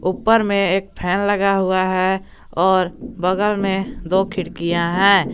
ऊपर में एक फैन लगा हुआ है और बगल में दो खिड़कियां है।